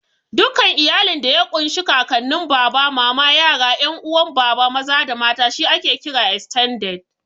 Dukkan iyalin da ya ƙun shi Kakanin, Baba, Mama, yara, 'yan uwa Baba maza da mata she ake kira "Estended".